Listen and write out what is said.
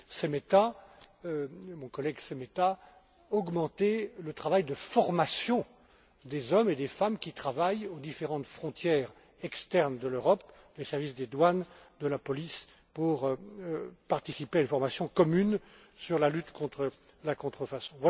M. Šemeta, renforcer la formation des hommes et des femmes qui travaillent aux différentes frontières externes de l'Europe les services des douanes, de la police pour participer à une formation commune sur la lutte contre la contrefaçon.